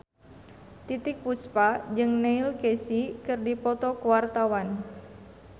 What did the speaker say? Titiek Puspa jeung Neil Casey keur dipoto ku wartawan